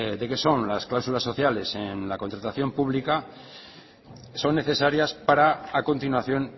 de qué son las cláusulas sociales en la contratación pública son necesarias para a continuación